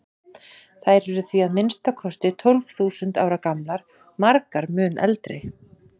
Þær eru því að minnsta kosti tólf þúsund ára gamlar, margar mun eldri.